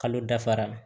Kalo dafara la